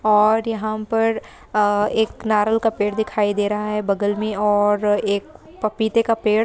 और यहां पर अ एक नारियल का पेड़ दिखाई दे रहा है | बगल में और एक पपीते का पेड़--